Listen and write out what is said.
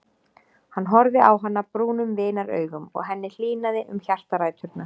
Hann horfði á hana brúnum vinaraugum og henni hlýnaði um hjartaræturnar.